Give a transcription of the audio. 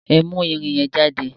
Ẹ mú ẹrin yẹn jáde!